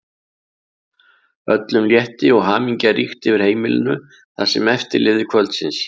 Öllum létti og hamingja ríkti yfir heimilinu það sem eftir lifði kvöldsins.